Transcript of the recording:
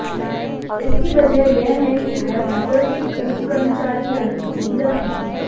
इसकी वजह यह है कि वह गूगल के पूर्व कर्मचारी यानी जूगलर हैं